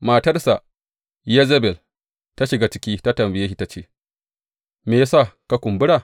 Matarsa Yezebel ta shiga ciki ta tambaye shi, ta ce, Me ya sa ka kumbura?